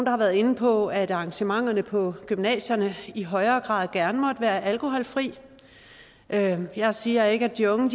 har været inde på at arrangementerne på gymnasierne i højere grad gerne måtte være alkoholfri jeg jeg siger ikke at de unge